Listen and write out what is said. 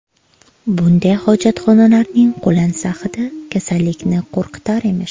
Bunday hojatxonalarning qo‘lansa hidi kasallikni qo‘rqitar emish.